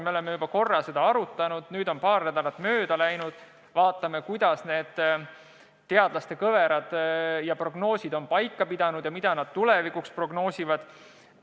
Me oleme juba korra seda arutanud, nüüd on paar nädalat mööda läinud, vaatame, kuidas teadlaste prognoosid on paika pidanud ja mida nad tulevikuks prognoosivad.